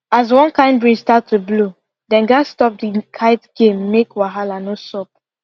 as one kind breeze start to blow dem gats stop the kite game make wahala no sup